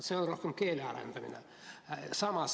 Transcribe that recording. See on rohkem keele arendamise teema.